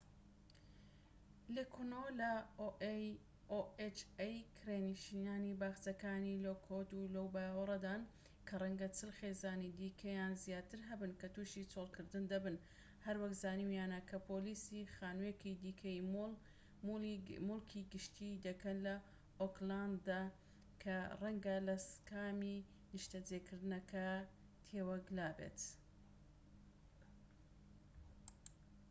کرێنشینانی باخچەکانی لۆکوود لەو باوەڕەدان کە ڕەنگە 40 خێزانی دیکە یان زیاتر هەبن کە تووشی چۆڵکردن دەبن، هەروەک زانیویانە کە پۆلیسی ohaش لێکۆڵینەوە لە خانوویەکی دیکەی مولی گشتی دەکەن لە ئۆکلاند کە ڕەنگە لە سکامی نیشتەجێکردنەکە تێوە گلابێت